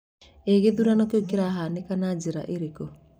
Ĩĩ gĩthurano kĩu kĩrahanĩkire na njĩra ĩrĩkũ?